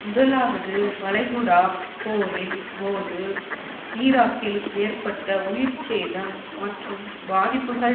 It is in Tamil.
முதலாவது வளைகுடா போரின் போது ஈராக்கில் ஏற்பட்ட உயிர் சேதம் மற்றும் பாதிப்புகள்